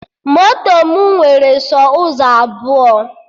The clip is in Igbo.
Moto mụ nwere sọ ụzọ abụọ